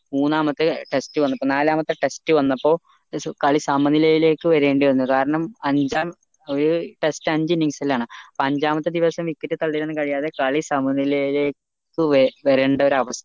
മൂന്നാമത്തെ test വന്നപ്പോൾ നാലാമത്തെ test വന്നപ്പോൾ കളി സമനിലയിലേക്ക് വരേണ്ടി വന്നു കാരണം അഞ്ചാം ഒരു test അഞ്ച ലാണ് അപ്പൊ അഞ്ചാമത്തെ ദിവസം wicket തള്ളി ഇടാൻ കഴിയാതെ കളി സമനിലയിലേക്ക് ക്കു വരേണ്ട